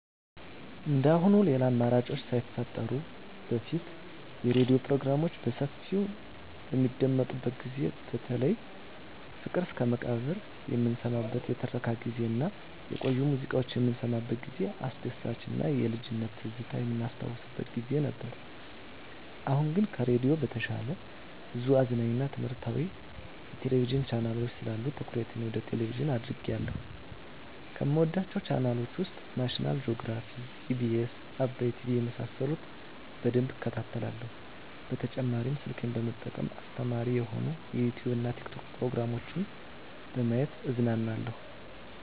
እንደአሁኑ ሌላ አማራጮች ሳይፈጠሩ በፊት የሬዲዮ ፕሮግራሞች በሰፊው በሚደመጥበት ጊዜ በተለይ ፍቅር እስከመቃብር የምንሰማበት የትረካ ጊዜ እና የቆዩ ሙዚቃዎች የምንሰማበት ጊዜ አስደሳች እና የልጅነት ትዝታ የምናስታውስበት ጊዜ ነበር። አሁን ግን ከሬዲዮ በተሻለ ብዙ አዝናኝ እና ትምህረታዊ የቴሌቪዥን ቻናሎች ስላሉ ትኩረቴ ወደ ቴሌቭዥን አድርጌአለሁ። ከምወዳቸው ቻናሎች ውስጥ ናሽናል ጆግራፊ, ኢቢኤስ, አባይ ቲቪ የመሳሰሉት በደንብ እከታተላለሁ። በተጨማሪ ስልኬን በመጠቀም አስተማሪ የሆኑ የዩቲዉብ እና የቲክቶክ ፕሮግራሞችን በማየት እዝናናለሁ።